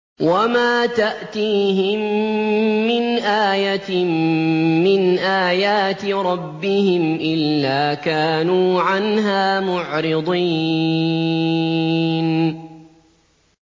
وَمَا تَأْتِيهِم مِّنْ آيَةٍ مِّنْ آيَاتِ رَبِّهِمْ إِلَّا كَانُوا عَنْهَا مُعْرِضِينَ